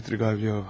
Svidrigaılov...